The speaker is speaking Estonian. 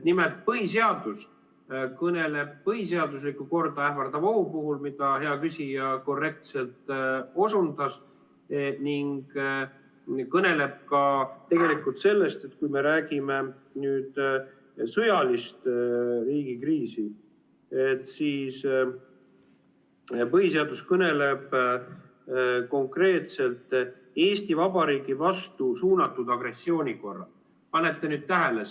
Nimelt, põhiseadus kõneleb põhiseaduslikku korda ähvardavast ohust, mida hea küsija korrektselt osundas, ning ka sellest, et kui me räägime riigi sõjalisest kriisist, siis põhiseadus kõneleb konkreetselt Eesti Vabariigi vastu suunatud agressiooni korral.